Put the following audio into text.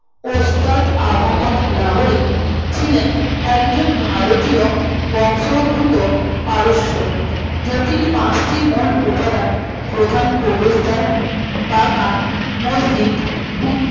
ওস্তাদ আহমদ লাহোরী ছিলেন একজন ভারতীয় বংশউদ্ভূত পারস্য জটিল পাঁচটি মূল উপাদান প্রধান প্রবেশদ্বার বাগান মসজিদ উৎ